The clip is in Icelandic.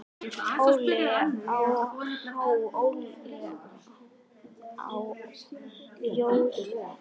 Óli á. há joð ó ell.